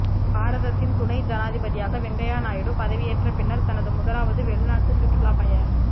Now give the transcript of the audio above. பாரதத்தின் துணை ஜனாதிபதியாக வெங்கையா நாயுடு பதவியேற்ற பின்னர் தனது முதலாவது வெளிநாட்டுச் சுற்றுப் பய